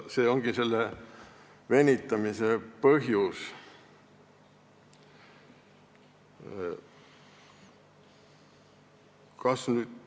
See ongi selle venitamise põhjus.